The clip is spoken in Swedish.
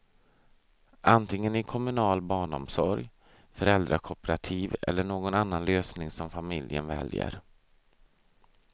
Antingen i kommunal barnomsorg, föräldrakooperativ eller någon annan lösning som familjen väljer.